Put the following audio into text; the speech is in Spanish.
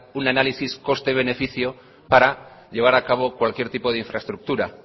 un análisis coste beneficio para llevar a cabo cualquier tipo de infraestructura